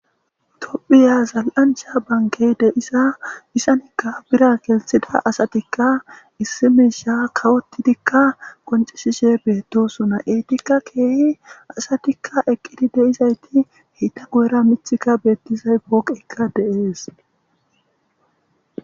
Tophiyan zal'ancha bankey de'iza izanka birra gelthida asatika issi misha kayotidika qoncisishe betosona, etika keeh asatika eqid de'izayti eta guyera mithika betizay pooqeyka de'es.